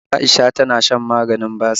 Aisha tana shan maganin basir